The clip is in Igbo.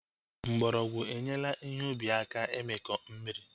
Mgbọrọgwụ enyela ihe ubi aka imikọ mmiri